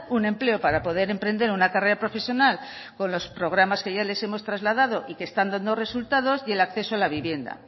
un empleo para poder emprender una carrera profesional con los programas que ya les hemos trasladado y que están dando resultados y el acceso a la vivienda